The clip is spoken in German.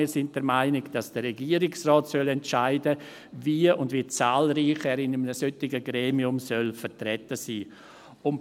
Wir sind der Meinung, dass der Regierungsrat entscheiden soll, wie und wie zahlreich er in einem solchen Gremium vertreten sein soll.